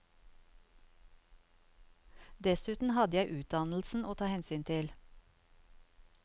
Dessuten hadde jeg utdannelsen å ta hensyn til.